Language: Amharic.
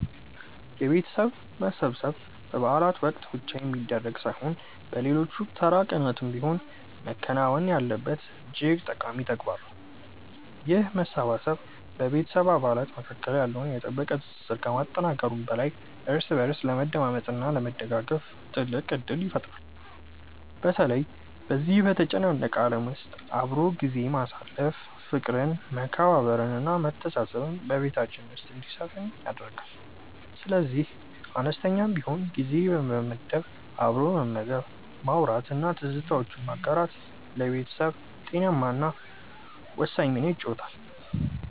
የቤተሰብ መሰብሰብ በበዓላት ወቅት ብቻ የሚደረግ ሳይሆን በሌሎች ተራ ቀናትም ቢሆን መከናወን ያለበት እጅግ ጠቃሚ ተግባር ነው። ይህ መሰባሰብ በቤተሰብ አባላት መካከል ያለውን የጠበቀ ትስስር ከማጠናከሩም በላይ እርስ በእርስ ለመደማመጥ እና ለመደጋገፍ ትልቅ ዕድል ይፈጥራል። በተለይ በዚህ በተጨናነቀ ዓለም ውስጥ አብሮ ጊዜ ማሳለፍ ፍቅርን መከባበርን እና መተሳሰብን በቤታችን ውስጥ እንዲሰፍን ያደርጋል። ስለዚህ አነስተኛም ቢሆን ጊዜ በመመደብ አብሮ መመገብ ማውራት እና ትዝታዎችን ማጋራት ለቤተሰብ ጤናማነት እና ደስታ ወሳኝ ሚና ይጫወታል